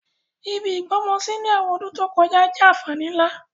Ibi ìgbọ́mọsí ni àwọn ọdún to kojá jẹ́ ànfàní nlá.